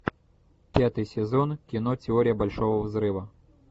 пятый сезон кино теория большого взрыва